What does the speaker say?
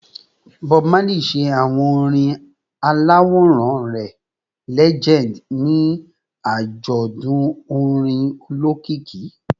Bob Marley ṣe awo orin alaworan rẹ “Legend” ni ajọdun orin olokiki